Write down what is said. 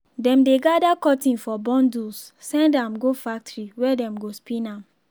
dem dey gather cotton for bundles send am go factory where dem go spin am.